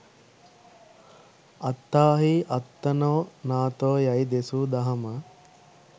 අත්තාහි අත්තනෝ නාථෝ යැයි දෙසූ දහම